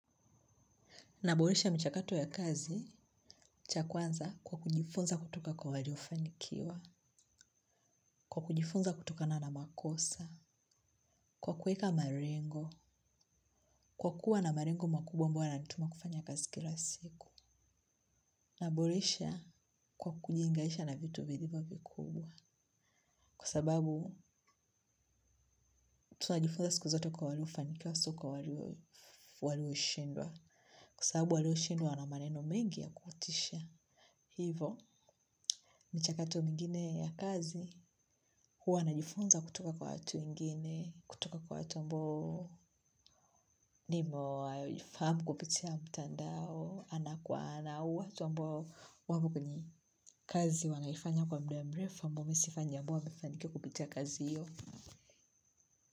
Naboresha michakato ya kazi, chakwanza kwa kujifunza kutoka kwa waliofanikiwa, kwa kujifunza kutokana na makosa, kwa kuweka malengo, kwa kuwa na malengo makubwa ambayo yana nituma kufanya kazi kila siku. Naboresha kwa kujiunganisha na vitu vilivyo vikubwa, kwa sababu tunajifunza siku zote kwa walio fanikiwa sio kwa walio shindwa, kwa sababu walio shindwa wana maneno mengi ya kukutisha. Hivo, michakato mingine ya kazi, huwa najifunza kutoka kwa watu wengine, kutoka kwa watu ambao nimo, fahamu kupitia mtandao, ana kwa ana, au watu ambao wapo kwenye kazi wanaifanya kwa muda mrefu ambao mimi sifanyi ambao wamefanikiwa kupitia kazi hiyo.